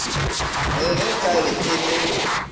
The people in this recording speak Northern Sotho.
re ge nkabe e le